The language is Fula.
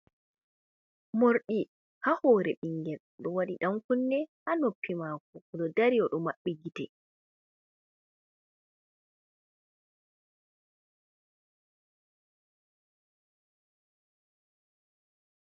Morɗi ha hore ɓingel oɗo waɗi dan kunne ha noppi mako, oɗo dari oɗo maɓɓi gite.